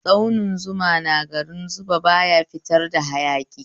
Tsauni Zuma na garin Zuba baya fitar da hayaki